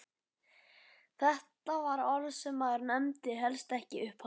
Þetta var orð sem maður nefndi helst ekki upphátt!